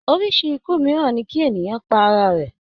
Orísi ikú mìíràn ní kí ènìyàn pa ara rẹ̀.